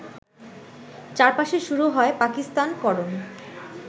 চারপাশে শুরু হয় পাকিস্তানকরণ